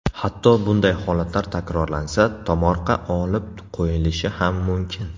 Hatto bunday holatlar takrorlansa, tomorqa olib qo‘yilishi ham mumkin.